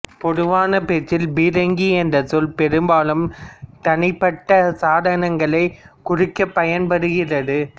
பொதுவான பேச்சில் பீரங்கி என்ற சொல் பெரும்பாலும் தனிப்பட்ட சாதனங்களைக் குறிக்க பயன்படுகிறது